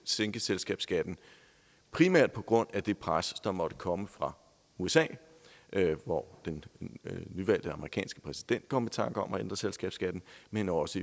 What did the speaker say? sænke selskabsskatten primært på grund af det pres der måtte komme fra usa hvor den nyvalgte amerikanske præsident kom i tanke om at ændre selskabsskatten men også